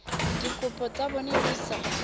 dikopo tsa bona di sa